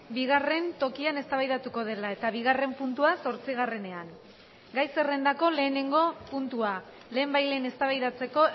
bigarren tokian eztabaidatuko dela eta bigarren puntua zortzigarrenean gai zerrendako lehenengo puntua lehenbailen eztabaidatzeko